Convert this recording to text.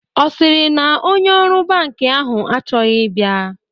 Ọ sịrị na onye ọrụ bankị ahụ achọghị ịbịa?